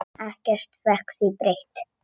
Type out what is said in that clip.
Ekkert fékk því breytt.